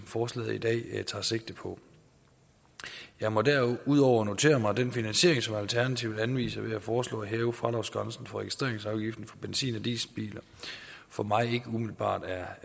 forslaget i dag tager sigte på jeg må derudover notere mig at den finansiering som alternativet anviser ved at foreslå at hæve fradragsgrænsen for registreringsafgiften for benzin og dieselbiler for mig ikke umiddelbart er